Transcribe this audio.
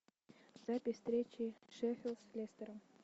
запись встречи шеффилд с лестером